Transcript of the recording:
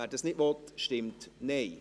wer das nicht tun will, stimmt Nein.